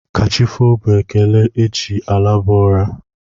Kachifo bụ ekele e ji a laba ụra.